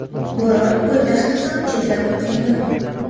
Bo‘ron poytaxtni ham chetlab o‘tgani yo‘q.